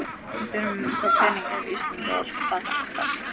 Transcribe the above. Við þurfum þá peninga ef Ísland á að braggast.